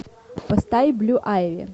поставь блю айви